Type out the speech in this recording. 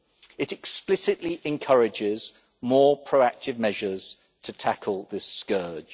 It explicitly encourages more proactive measures to tackle this scourge.